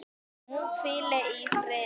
Hún hvíli í friði.